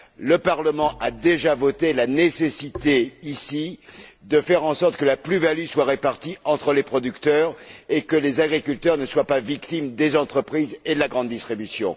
Le Parlement a déjà voté la nécessité ici de faire en sorte que la plus value soit répartie entre les producteurs et que les agriculteurs ne soient pas victimes des entreprises et de la grande distribution.